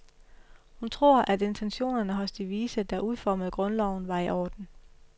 Hun tror, at intentionerne hos de vise, der udformede grundloven var i orden.